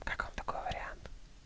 как вам такой вариант